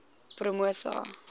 promosa